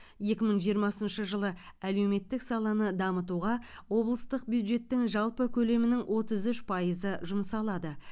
екі мың жиырмасыншы жылы әлеуметтік саланы дамытуға облыстық бюджеттің жалпы көлемінің отыз үш пайызы жұмсалады